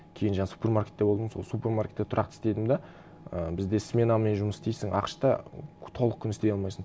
кейін жаңа супермаркетте болдым сол супермаркетте тұрақты істедім де і бізде сменамен жұмыс істейсің ақш та толық күн істей алмайсың